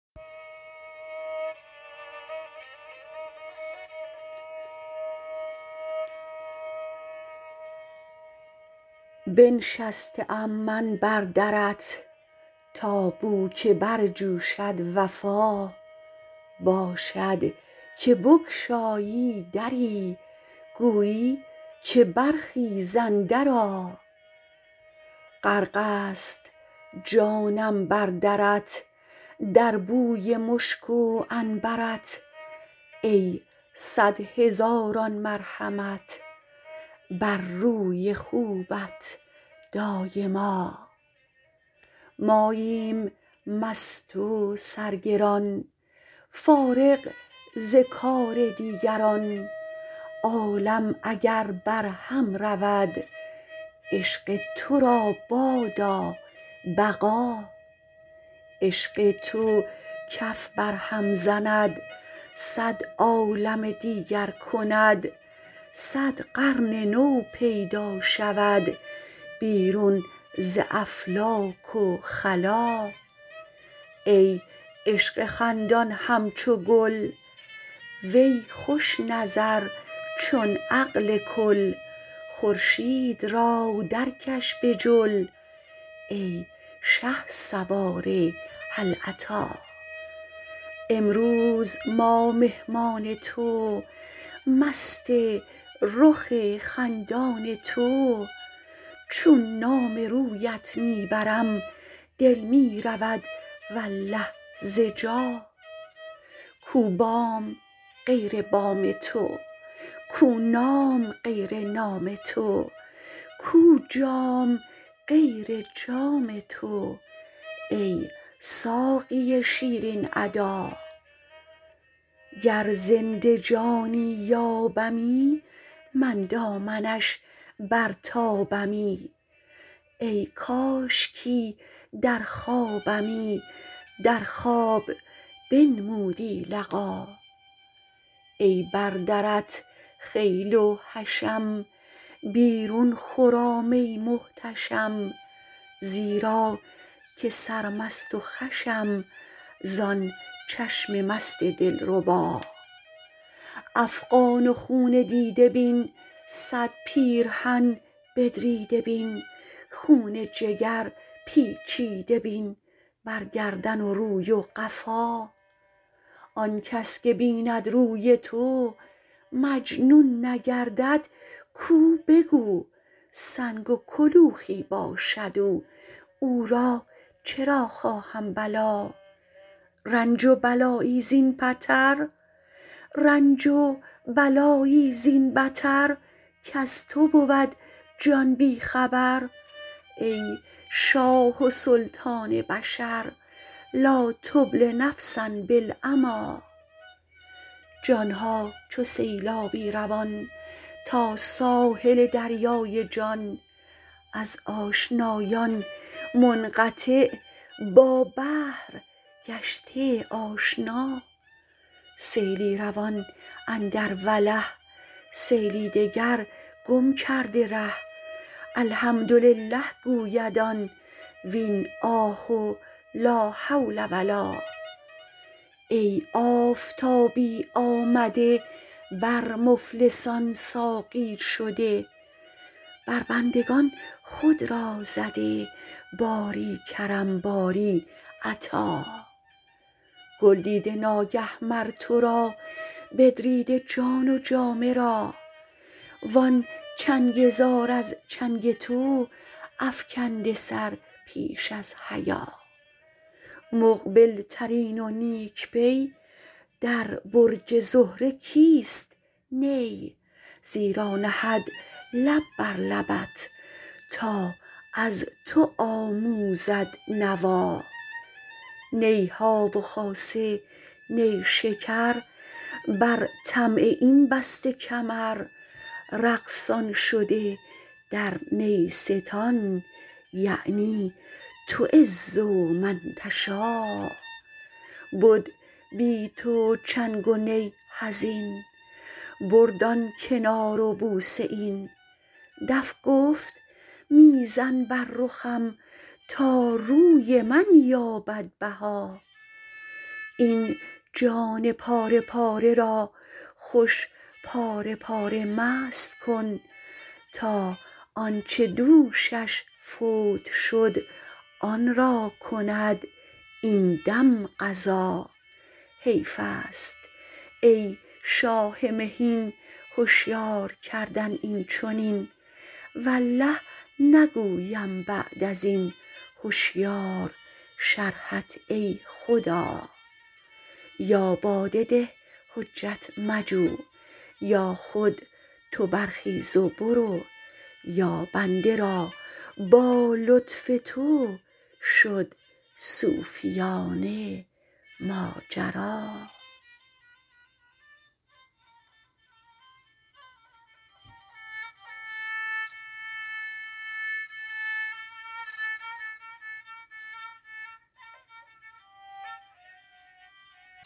بنشسته ام من بر درت تا بوک برجوشد وفا باشد که بگشایی دری گویی که برخیز اندرآ غرق ست جانم بر درت در بوی مشک و عنبر ت ای صد هزاران مرحمت بر روی خوبت دایما ماییم مست و سرگران فارغ ز کار دیگران عالم اگر برهم رود عشق تو را بادا بقا عشق تو کف برهم زند صد عالم دیگر کند صد قرن نو پیدا شود بیرون ز افلاک و خلا ای عشق خندان همچو گل وی خوش نظر چون عقل کل خورشید را درکش به جل ای شهسوار هل اتی امروز ما مهمان تو مست رخ خندان تو چون نام رویت می برم دل می رود والله ز جا کو بام غیر بام تو کو نام غیر نام تو کو جام غیر جام تو ای ساقی شیرین ادا گر زنده جانی یابمی من دامنش برتابمی ای کاشکی در خوابمی در خواب بنمودی لقا ای بر درت خیل و حشم بیرون خرام ای محتشم زیرا که سرمست و خوشم زان چشم مست دلربا افغان و خون دیده بین صد پیرهن بدریده بین خون جگر پیچیده بین بر گردن و روی و قفا آن کس که بیند روی تو مجنون نگردد کو به کو سنگ و کلوخی باشد او او را چرا خواهم بلا رنج و بلایی زین بتر کز تو بود جان بی خبر ای شاه و سلطان بشر لا تبل نفسا بالعمی جان ها چو سیلابی روان تا ساحل دریای جان از آشنایان منقطع با بحر گشته آشنا سیلی روان اندر وله سیلی دگر گم کرده ره الحمدلله گوید آن وین آه و لا حول و لا ای آفتابی آمده بر مفلسان ساقی شده بر بندگان خود را زده باری کرم باری عطا گل دیده ناگه مر تو را بدریده جان و جامه را وان چنگ زار از چنگ تو افکنده سر پیش از حیا مقبل ترین و نیک پی در برج زهره کیست نی زیرا نهد لب بر لبت تا از تو آموزد نوا نی ها و خاصه نیشکر بر طمع این بسته کمر رقصان شده در نیستان یعنی تعز من تشا بد بی تو چنگ و نی حزین برد آن کنار و بوسه این دف گفت می زن بر رخم تا روی من یابد بها این جان پاره پاره را خوش پاره پاره مست کن تا آن چه دوشش فوت شد آن را کند این دم قضا حیف است ای شاه مهین هشیار کردن این چنین والله نگویم بعد از این هشیار شرحت ای خدا یا باده ده حجت مجو یا خود تو برخیز و برو یا بنده را با لطف تو شد صوفیانه ماجرا